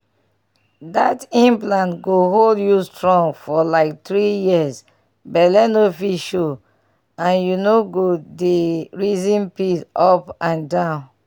that implant go hold you strong for like three years belle no fit show and you no go dey reason pills up and down